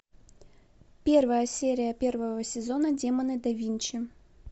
первая серия первого сезона демоны да винчи